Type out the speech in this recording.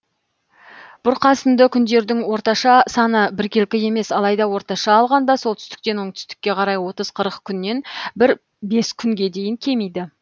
бұрқасынды күндердің орташа саны біркелкі емес алайда орташа алғанда солтүстіктен оңтүстікке қарай отыз қырық күннен бір бес күнге дейін кемиді